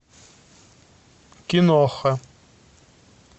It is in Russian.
киноха